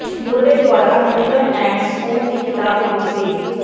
Murray ਦੁਆਰਾ ਲੁੱਟਰਨ ਐੰਡਜ਼ ਸਕੂਲ ਦੀ ਕਿਤਾਬ ਵਿੱਚ ਸੀ